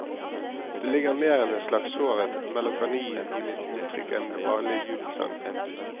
Det ligger mer en slags sårhet, melankoli i mitt uttrykk enn i den vanlige jubelsangen.